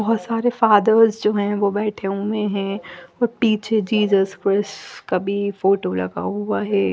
बोहोत सारे फादर्स जो है वो बेठे हुए है और पीछे जीजस क्रिस का भी फोटो लगा हुआ है।